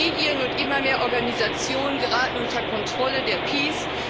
Medien und immer mehr Organisationen geraten unter Kontrolle der PiS.